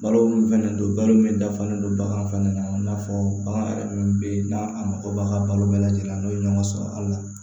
Balo min fɛnɛ don balo min dafalen don bagan fana na i n'a fɔ bagan yɛrɛ minnu bɛ yen n'a mako b'a ka balo bɛɛ lajɛlen na n'o ye ɲɔgɔn sɔrɔ a la